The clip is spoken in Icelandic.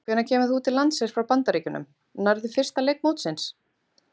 Hvenær kemur þú til landsins frá Bandaríkjunum, nærðu fyrsta leik mótsins?